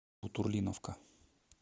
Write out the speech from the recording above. бутурлиновка